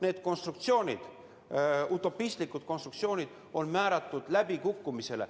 Need konstruktsioonid, utopistlikud konstruktsioonid on määratud läbikukkumisele.